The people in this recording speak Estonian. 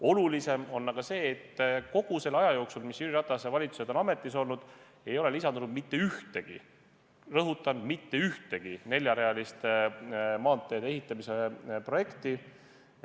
Olulisem on aga see, et kogu selle aja jooksul, mis Jüri Ratase valitsused on ametis olnud, ei ole lisandunud mitte ühtegi – rõhutan: mitte ühtegi – neljarealiste maanteede ehitamise projekti.